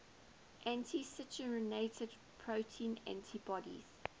anti citrullinated protein antibodies